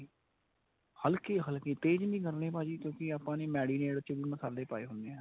ਹਲਕੀ ਹਲਕੀ ਤੇਜ਼ ਨੀ ਕਰਨੀ ਭਾਜੀ ਕਿਊਂਕਿ ਆਪਾਂ ਨੇ marinate ਚ ਵੀ ਮਸਾਲੇ ਪਾਏ ਹੁੰਨੇ ਏ.